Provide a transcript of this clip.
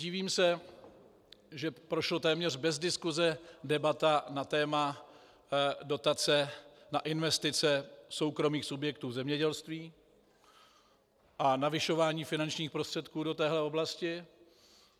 Divím se, že prošla téměř bez diskuse debata na téma dotace na investice soukromých subjektů v zemědělství a navyšování finančních prostředků do téhle oblasti.